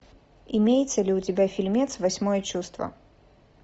имеется ли у тебя фильмец восьмое чувство